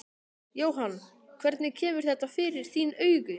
Jóhann: Hvernig kemur þetta fyrir þín augu?